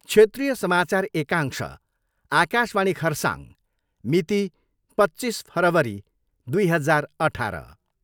क्षेत्रीय समाचार एकांश, आकाशवाणी खरसाङ, मिति, पच्चिस फरवरी दुई हजार अठार।